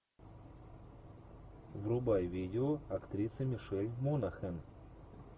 врубай видео актрисы мишель монахэн